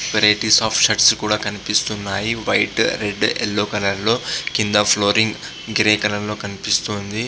అక్కడ varieties of shirts కనపడుతున్నాయి. White red and yellow colour లో కింద ఫ్లోరింగ్ గ్రే కలర్ లో కనిపిస్తుంది.